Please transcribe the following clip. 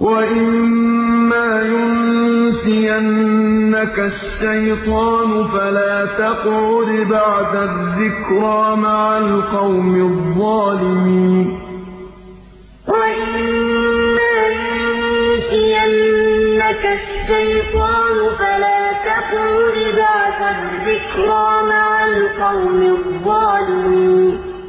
وَإِمَّا يُنسِيَنَّكَ الشَّيْطَانُ فَلَا تَقْعُدْ بَعْدَ الذِّكْرَىٰ مَعَ الْقَوْمِ الظَّالِمِينَ وَإِذَا رَأَيْتَ الَّذِينَ يَخُوضُونَ فِي آيَاتِنَا فَأَعْرِضْ عَنْهُمْ حَتَّىٰ يَخُوضُوا فِي حَدِيثٍ غَيْرِهِ ۚ وَإِمَّا يُنسِيَنَّكَ الشَّيْطَانُ فَلَا تَقْعُدْ بَعْدَ الذِّكْرَىٰ مَعَ الْقَوْمِ الظَّالِمِينَ